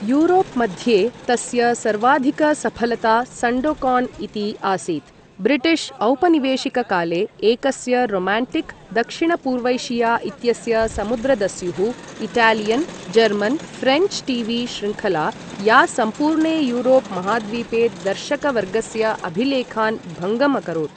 Europe मध्ये तस्य सर्वाधिकसफलता सण्डोकान् इति आसीत्, ब्रिटिश् औपनिवेशिककाले एकस्य रोमान्टिक् दक्षिणपूर्वैशिया इत्यस्य समुद्रदस्युः, इटालियन् जर्मन् फ्रेञ्च् टीवी शृङ्खला या सम्पूर्णे यूरोप् महाद्वीपे दर्शकवर्गस्य अभिलेखान् भङ्गम् अकरोत्।